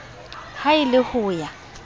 ha e le ho ya